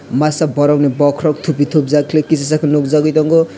masa borok ni bokorok tupi thupjaak kisijak ke nugjagoi tongo.